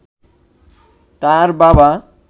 তার বাবা